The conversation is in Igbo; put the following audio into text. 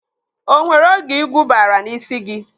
O nwere oge igwu baara n'ísí gị?